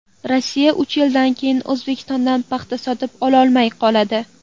Rossiya uch yildan keyin O‘zbekistondan paxta sotib ololmay qoladi.